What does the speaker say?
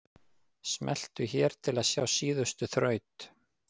Smelltu hér til að sjá síðustu þraut.